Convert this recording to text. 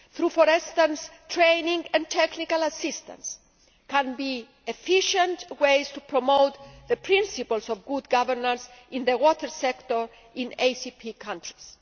for instance through training and technical assistance can be efficient ways to promote the principles of good governance in the water sector in ACP countries.